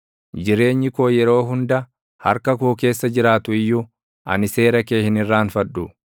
Jireenyi koo yeroo hunda harka koo keessa jiraatu iyyuu, ani seera kee hin irraanfadhu.